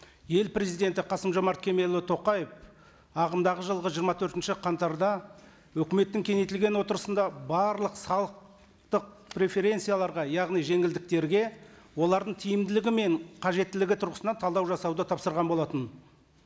ел президенті қасым жомарт кемелұлы тоқаев ағымдағы жылғы жиырма төртінші қаңтарда өкіметтің кеңейтілген отырысында барлық салықтық преференцияларға яғни жеңілдіктерге олардың тиімділігі мен қажеттілігі тұрғысынан талдау жасауды тапсырған болатын